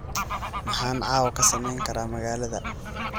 Maxaan caawa ka samayn karaa magaalada?